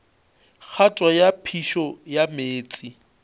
kgato ya phišo ya meetse